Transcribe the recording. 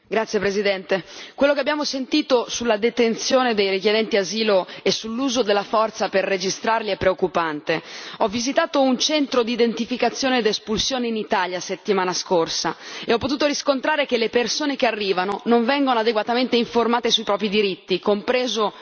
Signor Presidente, onorevoli colleghi, quello che abbiamo sentito sulla detenzione dei richiedenti asilo e sull'uso della forza per registrarli è preoccupante. Ho visitato un centro di identificazione ed espulsione in Italia la settimana scorsa e ho potuto riscontrare che le persone che arrivano non vengono adeguatamente informate sui loro diritti, compreso quello di richiedere l'asilo.